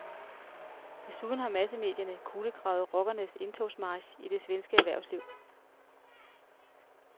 Desuden har massemedierne kulegravet rockernes indtogsmarch i det svenske erhvervsliv.